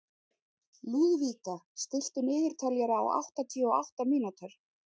Lúðvíka, stilltu niðurteljara á áttatíu og átta mínútur.